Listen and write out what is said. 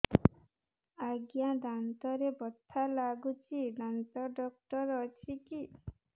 ଆଜ୍ଞା ଦାନ୍ତରେ ବଥା ଲାଗୁଚି ଦାନ୍ତ ଡାକ୍ତର ଅଛି କି